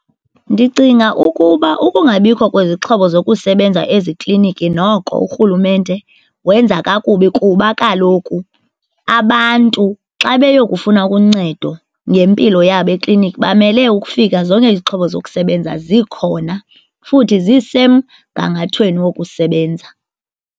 Ndicinga ukuba ukungabikho kwezixhobo zokusebenza ezikliniki noko urhulumente wenza kakubi kuba kaloku abantu xa beyokufuna uncedo ngempilo yabo ekliniki bamele ukufika zonke izixhobo zokusebenza zikhona futhi zisemgangathweni wokusebenza.